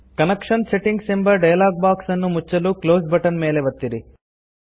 connection settings ಎಂಬ dialog box ಅನ್ನು ಮುಚ್ಚಲು ಕ್ಲೋಸ್ ಬಟನ್ ಮೇಲೆ ಒತ್ತಿರಿ